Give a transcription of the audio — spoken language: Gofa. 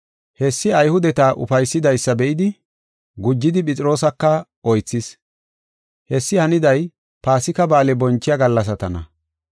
Hessi Ayhudeta ufaysidaysa be7idi, gujidi Phexroosaka oythis. Hessi haniday Paasika Ba7aale bonchiya gallasatana.